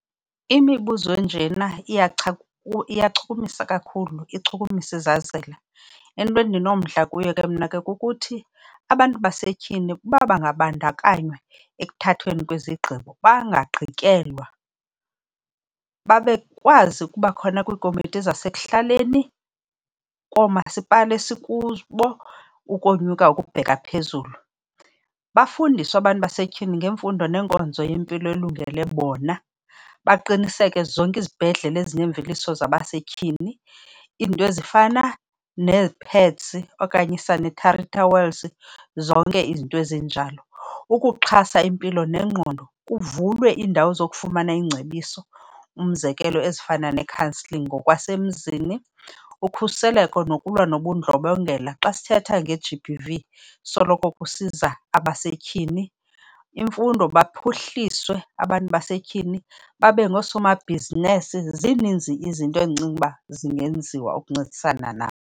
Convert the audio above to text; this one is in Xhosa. Imibuzo enjena iyachukumisa kakhulu, ichukumisa izazela. Into endinomdla kuyo ke mna ke kukuthi abantu basetyhini uba bangabandakanywa ekuthathweni kwezigqibo, bangagqityelwa, bakwazi ukuba khona kwiikomiti zasekuhlaleni, koomasipala esikubo ukonyuka ukubheka phezulu. Bafundiswe abantu basetyhini ngemfundo neenkonzo yempilo elungele bona. Baqiniseke zonke izibhedlele ezinemveliso yabasetyhini, iinto ezifana nee-pads okanye ii-sanitary towels, zonke izinto ezinjalo. Ukuxhasa impilo nengqondo kuvulwe iindawo zokufumana iingcebiso, umzekelo ezifana ne-counselling ngokwasemzini. Ukhuseleko nokulwa nobundlobongela xa sithetha nge-G_B_V, soloko kusiza abasetyhini. Imfundo, baphuhliswe abantu basetyhini babe ngoosomabhizinesi. Zininzi ke izinto endicinga uba zingenziwa ukuncedisana nabo.